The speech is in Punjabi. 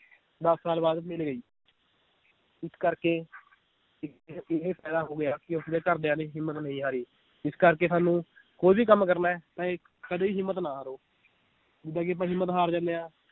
ਦਸ ਸਾਲ ਬਾਅਦ ਮਿਲ ਗਈ ਇਸ ਕਰਕੇ ਇਕ ਇਹ ਫਾਇਦਾ ਹੋ ਗਿਆ ਕਿ ਉਸਦੇ ਘਰਦਿਆਂ ਨੇ ਹਿੰਮਤ ਨਹੀਂ ਹਾਰੀ ਇਸ ਕਰਕੇ ਸਾਨੂੰ ਕੋਈ ਵੀ ਕੰਮ ਕਰਨਾ ਏ ਕਦੇ ਹਿੰਮਤ ਨਾ ਹਾਰੋ ਜਿੱਦਾਂ ਕਿ ਆਪਾਂ ਹਿੰਮਤ ਹਾਰ ਜਾਂਦੇ ਹਾਂ